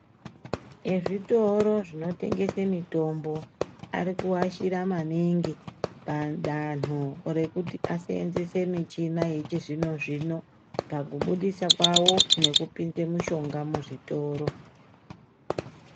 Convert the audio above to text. Ezvitoro zvinotengesa mitombo ari kuashira maningi madanho rekuti ashandise michina yechizvino zvino. Pakubudisa kwawo nekupinza mishonga muzvitoro.